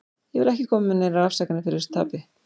Ég vil ekki koma með neinar afsakanir fyrir þessu tapi.